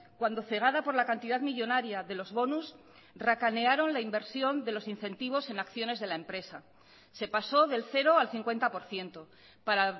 cuando cegada por la cantidad millónaria de los bonus racanearon la inversión de los incentivos en acciones de la empresa se pasó del cero al cincuenta por ciento para